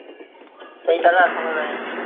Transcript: ওই টাকা এখনো দেয়নি